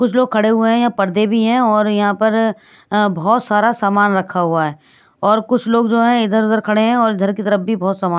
कुछ लोग खड़े हुए हैं यहां पर पर्दे भी हैं और यहां पर अ बहोत सारा सामान रखा हुआ है और कुछ लोग जो हैं इधर उधर खड़े हुए हैं और इधर की तरफ भी बहोत सामान--